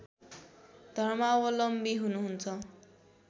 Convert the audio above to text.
धर्मावलम्बी हुनुहुन्छ